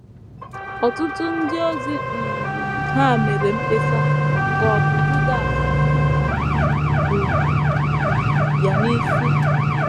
Ọtụtụ ndị ozi um hà mere mkpesa, ka ọ̀ bụ Judas um bu ya n’isi?